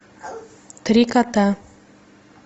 три кота